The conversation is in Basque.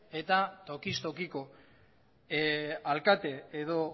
eta tokiz tokiko alkate edo